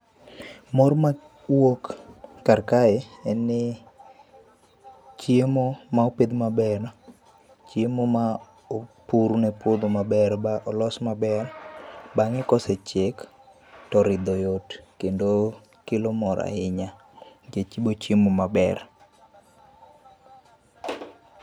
Mor mawuok kar kae en ni chiemo ma opidh maber, chiemo ma opur ne puodho maber ba olos maber bang'e kosechiek to ridho yot kendo kelo mor ahinya nikech ibo chiemo maber.